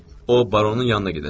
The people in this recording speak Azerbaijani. O baronun yanına gedəcək.